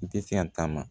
I tɛ se ka taama